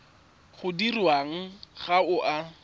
o dirwang ga o a